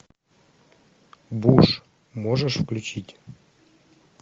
буш можешь включить